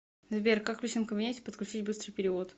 сбер как в личном кабинете подключить быстрый перевод